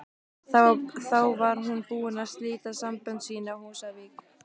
Þá var hún búin að slíta sambönd sín á Húsavík.